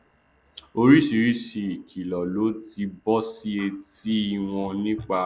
oríṣìíríṣìí ìkìlọ ló ti bọ sí etí i wọn nípa